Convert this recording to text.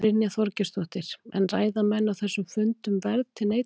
Brynja Þorgeirsdóttir: En ræða menn á þessum fundum verð til neytandans?